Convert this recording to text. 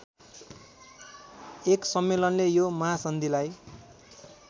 १ सम्मेलनले यो महासन्धिलाई